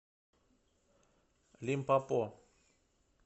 лимпопо